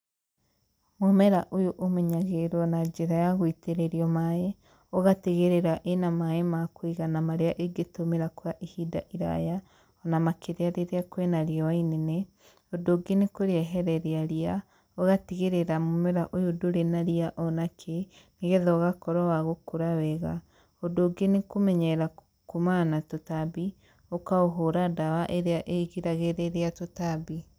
Mũmera ũyũ ũmenyagĩrĩrwo na njĩra ya gũitĩrĩrio maĩ, ũgatigĩrĩra ĩna maĩ ma kũiganana marĩa ĩngĩtũmĩra kwa ihinda iraya na makĩria rĩrĩa kwĩna riũa inene. Ũndũ ũngĩ nĩ kũmĩehereria ria, ũgatigĩrĩra mũmera ũyũ ndũri na ria onakĩ nĩgetha ũgakũra wega, ũndũ ũngĩ nĩ kũũmenyerera kuumana na tũtambĩ ũkaũhũra ndawa ĩrĩa ĩrigagĩrĩria tũtambi.